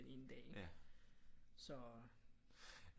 Ene dag ikke så